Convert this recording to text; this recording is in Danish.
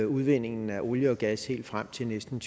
udvindingen af olie og gas helt frem til næsten